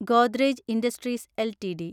Godrej industries LTD